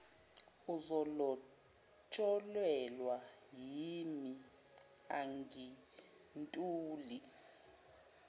uzolotsholelwa yimi angintuli